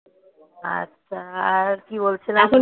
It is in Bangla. আচ্ছা আর কি বলছিলাম?